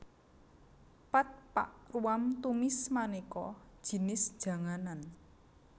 Pad pak ruam tumis manéka jinis janganan